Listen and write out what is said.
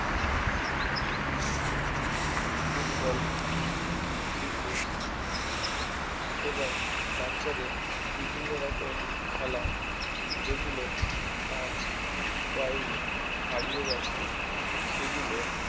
football cricket এবং বাচ্চাদের বিভিন্ন রকম খেলা যেগুলো আজ তাই হারিয়ে গেছে সেগুলো